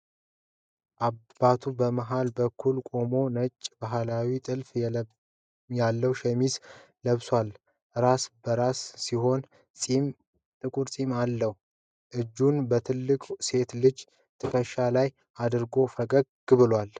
አባቱ በመሃል በኩል ቆሟል፤ ነጭ፣ ባህላዊ ጥልፍ ያለው ሸሚዝ ለብሷል። ራሰ በራ ሲሆን ጥቁር ፂም አለው። እጁን በትልቁ ሴት ልጁ ትከሻ ላይ አድርጎ ፈገግ ብሏል።